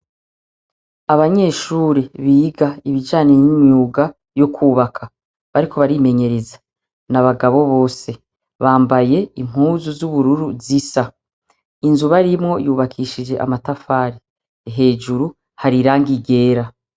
Abanyeshuri biga ibijanire n'imyuga yo kubaka bariko barimenyereza.na bagabo bose. Bambaye impuzu z'ubururu zisa. Inzu barimwo yubakishije amatafari hejuru harirangi ryera.